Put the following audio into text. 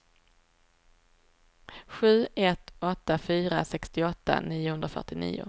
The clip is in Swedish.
sju ett åtta fyra sextioåtta niohundrafyrtionio